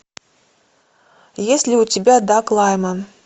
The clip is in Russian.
есть ли у тебя даг лайман